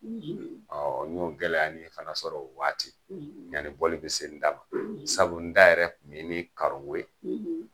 n y'o gɛlɛyanin fana sɔrɔ o waati yani bɔli be se n da ma. sabu n da yɛrɛ kun ye ni karon ko ye